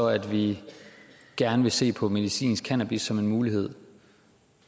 at vi gerne vil se på medicinsk cannabis som en mulighed